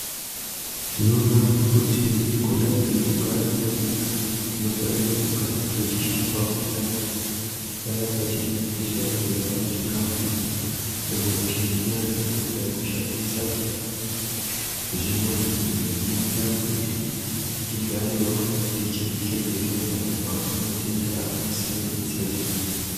Tinoona kuti kudai ngekugara kwedu, tinofanira kugara tichishambawo nyara paya patinenge tichida kurya kana kushambe nyara kana tapedza kushandisa zvimbuzi izvo zvinoita kuti tigarewo tichizvichengetedza kubva kumatenda akasiyana-siyana.